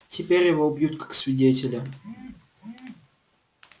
теперь его убьют как свидетеля